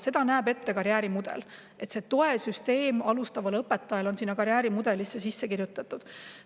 Seda näeb ette karjäärimudel, alustavat õpetajat toetav süsteem on karjäärimudelisse sisse kirjutatud.